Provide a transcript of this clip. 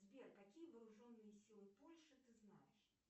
сбер какие вооруженные силы польши ты знаешь